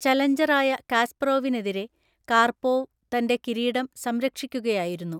ചലഞ്ചറായ കാസ്പറോവിനെതിരെ കാർപോവ് തന്റെ കിരീടം സംരക്ഷിക്കുകയായിരുന്നു.